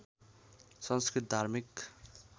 संस्कृत धार्मिक